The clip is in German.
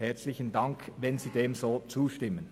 Herzlichen Dank, wenn Sie dem so zustimmen.